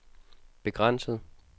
begrænset